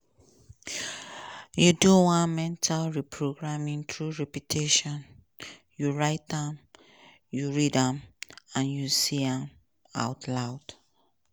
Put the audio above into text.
you do one mental reprogramming through repetition: you write am you read am and you say am out loud.